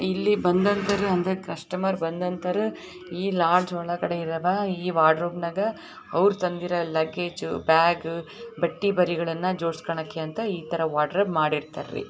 ಇಲ್ಲಿ ಬಂಧನ್ ತರ ಕಸ್ಟಮರ್ ಈ ಲಾಡ್ಜ್ ಒಳಗಡೆ ಬರುವಂತಹ ವಾರ್ಡ್ರೋಬ್ಒಳಗೆ ಅವ್ರ್ ತಂದಿರೋ ಲಗೆಜು ವಾರ್ಡ್ರೋಬ್ ಒಳಗೆ ಅವ್ರ್ ತಂದಿರೋ ಲಗೆಜು ಇತರ ವಾರ್ಡ್ರೋಬ್ ಮಾಡಿದ್ದಾರೆ.